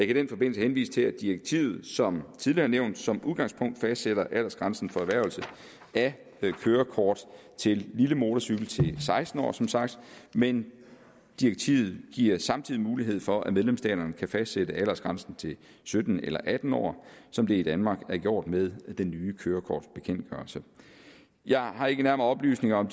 i den forbindelse henvise til at direktivet som tidligere nævnt som udgangspunkt fastsætter aldersgrænsen for erhvervelse af kørekort til lille motorcykel til seksten år som sagt men direktivet giver samtidig mulighed for at medlemsstaterne kan fastsætte aldersgrænsen til sytten eller atten år som det i danmark er gjort med den nye kørekortbekendtgørelse jeg har ikke nærmere oplysninger om